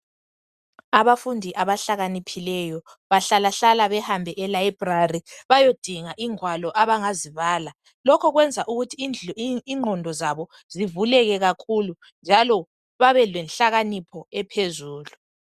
Abafundi abahlakaniphileyo bahlalahlala behambe e library bayedinga ingwalo abangazibala lokho kwenza ingqondo zabo zivuleke kakhulu njalo babe lenhlakanipho ephezulu.